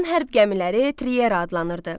Yunan hərb gəmiləri Triera adlanırdı.